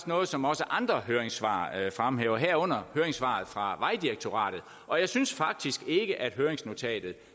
noget som også andre høringssvar fremhæver herunder høringssvaret fra vejdirektoratet og jeg synes faktisk ikke at høringsnotatet